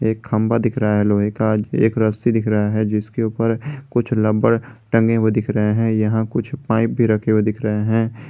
एक खंबा दिख रहा है लोहे का एक रस्सी दिख रहा है जिसके ऊपर कुछ लम्बर टंगे हुए दिख रहे हैं यहां कुछ पाइप भी रखे हुए दिख रहे हैं।